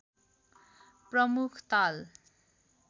प्रमुख ताल